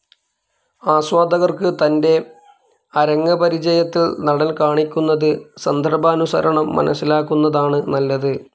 ആസ്വാദകർക്ക് തൻ്റെ അരങ്ങ്പരിചയത്തിൽ നടൻ കാണിക്കുന്നത് സന്ദർഭാനുസരണം മനസിലാക്കുന്നതാണ് നല്ലത്.